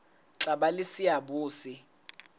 tla ba le seabo se